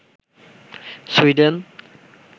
Sweden